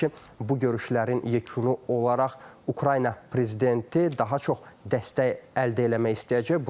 Təbii ki, bu görüşlərin yekunu olaraq Ukrayna prezidenti daha çox dəstək əldə eləmək istəyəcək.